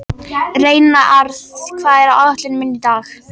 Reynarð, hvað er á áætluninni minni í dag?